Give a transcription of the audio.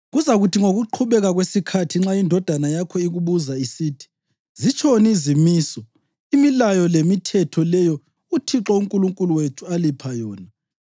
Kuzakuthi ngokuqhubeka kwesikhathi nxa indodana yakho ikubuza isithi, ‘Zitshoni izimiso, imilayo lemithetho leyo uThixo uNkulunkulu wethu alipha yona?’